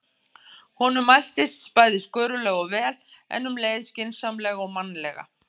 Honum mæltist bæði skörulega og vel, en um leið skynsamlega og mannlega.